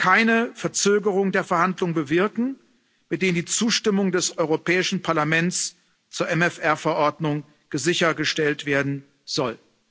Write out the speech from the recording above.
keine Verzögerung der Verhandlungen bewirken, mit denen die Zustimmung des Europäischen Parlaments zur MFR Verordnung sichergestellt werden soll.